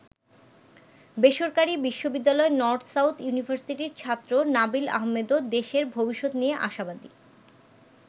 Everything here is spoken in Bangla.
বেসরকারি বিশ্ববিদ্যালয় নর্থ-সাউথ ইউনিভার্সিটির ছাত্র নাবিল আহমেদও দেশের ভবিষ্যত নিয়ে আশাবাদী।